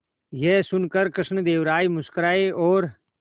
यह सुनकर कृष्णदेव राय मुस्कुराए और